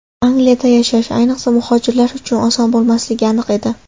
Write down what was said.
Angliyada yashash, ayniqsa, muhojirlar uchun oson bo‘lmasligi aniq edi.